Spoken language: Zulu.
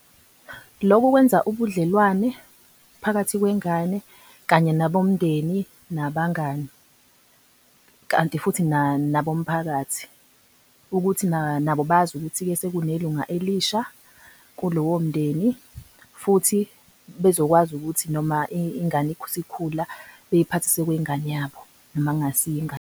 Lokhu kwenza ubudlelwane phakathi kwengane kanye nabomndeni nabangani, kanti futhi nabomphakathi ukuthi nabo, nabo bazi ukuthi-ke sekune lunga elisha kulowo mndeni. Futhi bezokwazi ukuthi noma ingane isikhula beyiphathise kwengane yabo noma kungasiye ingane